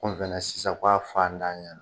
sisan ka a fa ntanyan